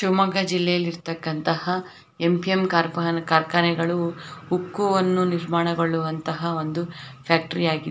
ಶಿವಮೊಗ್ಗ ಜಿಲ್ಲೆಯಲ್ಲಿರ್ತಕನಂತಹ MPM corp ನ ಕಾರ್ಖಾನೆಗಳು ಉಕ್ಕುವನ್ನು ನಿರ್ಮಾಣಗೊಳ್ಳುವಂತಹ ಒಂದು ಫ್ಯಾಕ್ಟರಿ ಆಗಿದ್ --